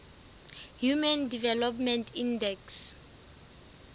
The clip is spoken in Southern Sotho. human development index